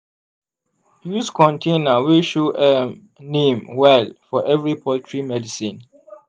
use container wey show um name well for every poultry medicine.